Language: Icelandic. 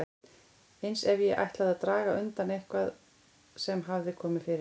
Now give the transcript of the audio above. Eins ef ég ætlaði að draga undan eitthvað sem hafði komið fyrir.